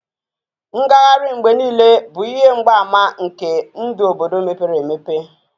Ngagharị mgbe niile bụ ihe mgbaàmà nke ndụ obodo mepere emepe